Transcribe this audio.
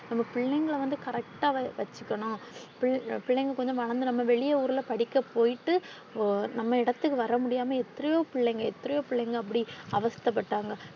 நம்ம பிள்ளைங்கள வந்து correct ஆ வச்சிக்கணும் ~ பிள்ளை ~ பிள்ளைங்க கொஞ்சம் வந்து வளர்த்து நம்ம வெளிய ஊர்ல படிக்க போய்ட்டு நம்ம இடத்துக்கு வர முடியாம எத்தரையோ பிள்ளைங்க எத்தரையோ பிள்ளைங்க அப்பிடி அவஸ்த பட்டாங்க